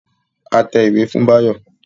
A tẹ ìwé fún Báyọ̀